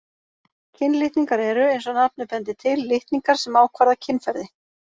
Kynlitningar eru, eins og nafnið bendir til, litningar sem ákvarða kynferði.